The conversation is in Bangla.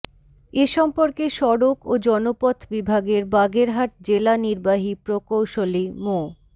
এ সম্পর্কে সড়ক ও জনপথ বিভাগের বাগেরহাট জেলা নির্বাহী প্রকৌশলী মো